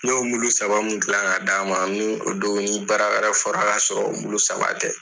N y'o saba mun gilan ka d'a ma ni o don ni baara wɛrɛ fɔra ka sɔrɔ o saba tɛ.